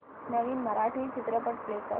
नवीन मराठी चित्रपट प्ले कर